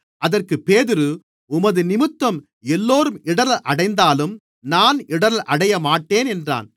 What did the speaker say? அதற்கு பேதுரு உமதுநிமித்தம் எல்லோரும் இடறல் அடைந்தாலும் நான் இடறல் அடையமாட்டேன் என்றான்